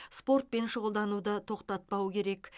спортпен шұғылдануды тоқтапау керек